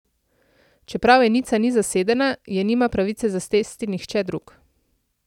Čeprav enica ni zasedena, je nima pravice zasesti nihče drug.